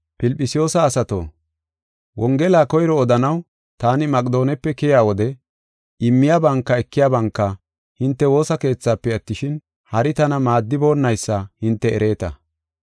Filphisiyuusa asato, Wongela koyro odanaw taani Maqedoonepe keyiya wode immiyabanka ekiyabanka hinte woosa keethaafe attishin, hari tana maaddiboonaysa hinte ereeta.